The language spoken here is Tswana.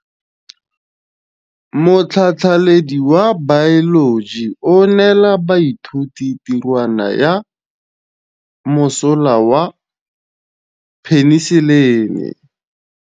Motlhatlhaledi wa baeloji o neela baithuti tirwana ya mosola wa peniselene.